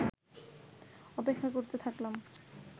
অপেক্ষা করতে থাকলাম